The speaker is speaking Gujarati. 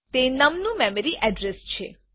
તે નમ નું મેમરી અડ્રેસ છે